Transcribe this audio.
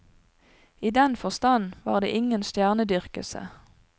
I den forstand var det ingen stjernedyrkelse.